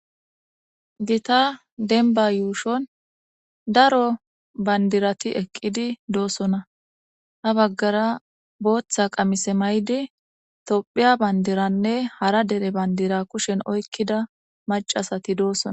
Gita denba yuushon daro bandirati eqqidi doossona ha baggara booththa qamise may'di tophiya bandiranne hara dere bandira kushen oykkida macasati doossona.